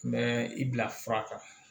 N bɛ i bila fura kan